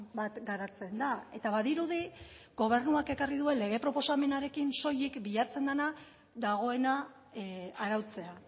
bat garatzen da eta badirudi gobernuak ekarri duen lege proposamenarekin soilik bilatzen dena dagoena arautzea